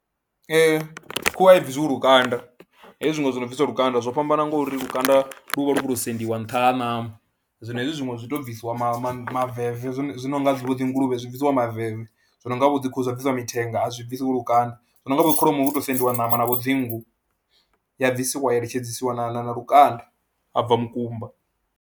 Ee, khuhu a bvisiwi lukanda hezwi zwiṅwe zwo no bvisiwa lukanda zwo fhambana ngauri lukanda lu vha lu khou tou sendiwa nṱha ha ṋama, zwino hezwi zwiṅwe zwi tou bvisiwa ma ma maveve zwi no nga vho dzi nguluvhe zwi bvisiwa maveve, zwi no nga vho dzi khuhu dza bvisiwa mithenga a zwi bvisiwi lukanda, zwi no nga vho dzi kholomo hu tou sediwa ṋama na vho dzinngu, ya bvisiwa ya iletshedzisiwa na lukanda ha bva mukumba.